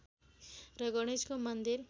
र गणेशको मन्दिर